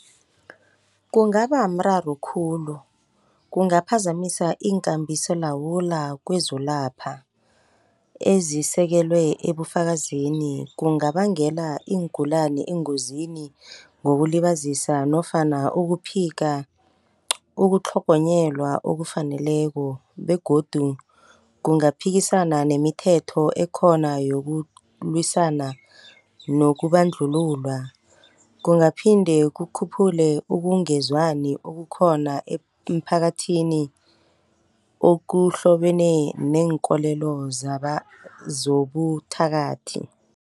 Kungabamraro khulu. Kungaphazamisa iinkambiso lawula kwezokulapha, ezisekelwe ebufakazini. Kungabangela iingulani engozini ngokulibazisa nofana ukuphika, ukutlhogonyelwa okufaneleko begodu kungaphikisana nemithetho ekhona yokulwisana nokubandlululwa. Kungaphinde kukhuphule ukungezwani okukhona emphakathini okuhlobene neenkolelo zobuthakathi.